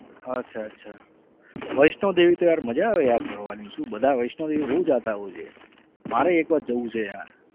અચ્છા અચ્છા વૈષ્ણોદેવી તો યાર મજા આવે યાર ફરવાની શું બધા વૈષ્ણોદેવી બહુ જાતા હોય છે મારે એક વાર જવું છે યાર.